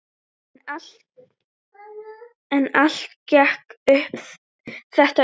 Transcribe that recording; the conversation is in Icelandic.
En allt gekk þetta upp.